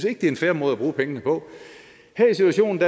ikke det er en fair måde at bruge pengene på her er situationen